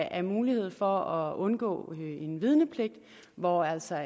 af mulighed for at undgå en vidnepligt hvor altså